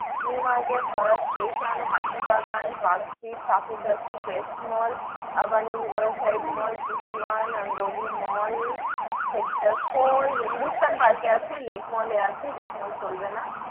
New Market, Howrah Station, Hatibagan, Park Street, Kankurgachi, , Rangoli Mall, Sector IV Hindustan park এ আছে, Lake Mall এ আছে, Lake Mall এ চলবে না।